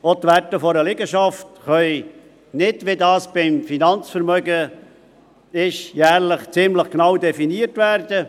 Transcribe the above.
Auch die Werte einer Liegenschaft können nicht, wie das beim Finanzvermögen ist, jährlich ziemlich genau definiert werden.